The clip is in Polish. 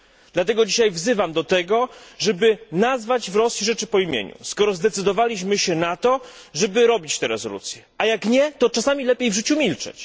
Dlatego dzisiaj wzywam do tego, żeby nazwać w Rosji rzeczy po imieniu, skoro zdecydowaliśmy się na to, żeby robić tę rezolucję, A jak nie, to czasami lepiej w życiu milczeć.